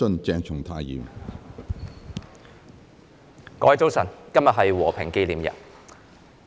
各位早晨，今天是和平紀念日。